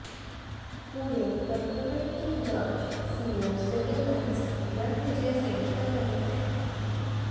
पूरे प्रकरण की जांच CO civil lines Ranvijay Singh कर रहे हैं